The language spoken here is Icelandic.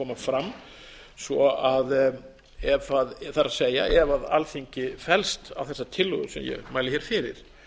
mun koma fram það er ef alþingi fellst á þessa tillögu sem ég mæli hér fyrir